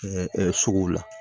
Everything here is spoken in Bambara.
suguw la